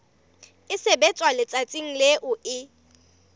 e sebetswa letsatsing leo e